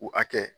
U hakɛ